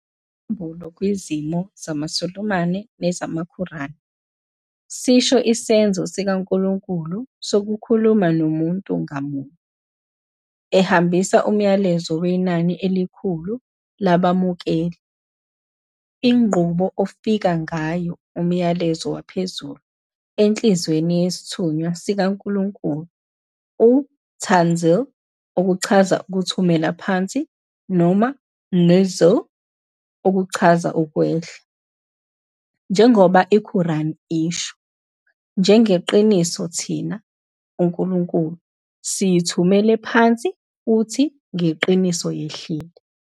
Isambulo kuzimo zamaSulumane nezamaQuran sisho isenzo sikaNkulunkulu sokukhuluma nomuntu ngamunye, ehambisa umyalezo wenani elikhulu labamukeli. Inqubo okufika ngayo umyalezo waphezulu enhliziyweni yesithunywa sikaNkulunkulu yi- "tanzil", ukuthumela phansi, noma i- "nuzūl", ukwehla. Njengoba iQuran isho, "Ngeqiniso thina, uNkulunkulu, siyithumele phansi futhi ngeqiniso yehlile."